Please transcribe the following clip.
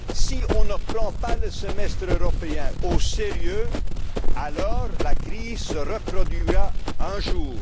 Si on ne prend pas le semestre européen au sérieux, la crise se reproduira